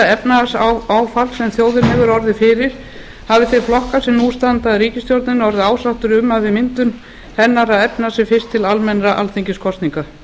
efnahagsáfalls sem þjóðin hefur orðið fyrir hafi þeir flokkar sem nú standa að ríkisstjórninni orðið ásáttir um að við myndun hennar að efna sem fyrst til almennra alþingiskosninga